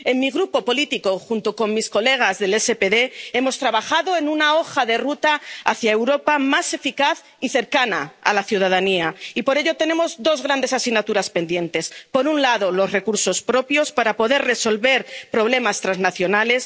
En mi grupo político, junto con mis colegas del SPD, hemos trabajado en una hoja de ruta hacia una Europa más eficaz y cercana a la ciudadanía. Y por ello tenemos dos grandes asignaturas pendientes por un lado, los recursos propios, para poder resolver problemas transnacionales